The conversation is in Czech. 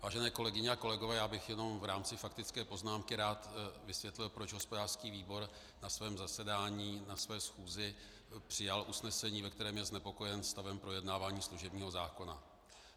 Vážené kolegyně a kolegové, já bych jenom v rámci faktické poznámky rád vysvětlil, proč hospodářský výbor na svém zasedání, na své schůzi, přijal usnesení, ve kterém je znepokojen stavem projednávání služebního zákona.